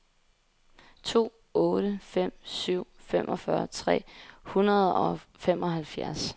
to otte fem syv femogfyrre tre hundrede og femoghalvfjerds